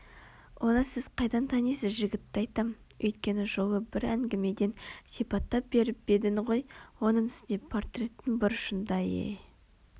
оны сіз қайдан танисыз жігітті айтам Өткен жолы бір әңгімеден сипаттап беріп едің ғой оның үстіне портреттің бұрышында е